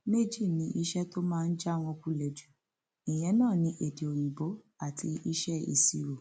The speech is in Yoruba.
méjì ni iṣẹ tó máa ń já wọn kulẹ jù lọ ìyẹn náà ní èdè òyìnbó àti iṣẹ ìṣirò